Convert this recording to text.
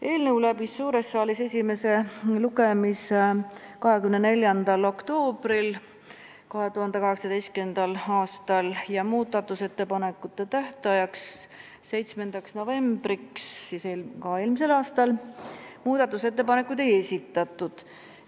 Eelnõu läbis suures saalis esimese lugemise 24. oktoobril 2018. aastal ja muudatusettepanekute tähtajaks, 7. novembriks ettepanekuid ei esitatud.